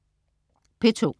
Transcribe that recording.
P2: